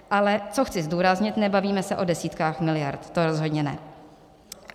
Ale co chci zdůraznit: nebavíme se o desítkách miliard, to rozhodně ne.